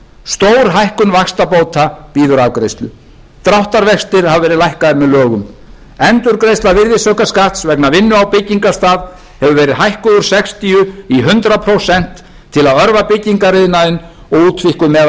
stórhækkun vaxtabóta bíður afgreiðslu dráttarvextir hafa verið lækkaðir með lögum endurgreiðsla virðisaukaskatts vegna vinnu á byggingarstað hefur verið hækkuð úr sextíu í hundrað prósent til að örva byggingariðnaðinn og útvíkkun meðal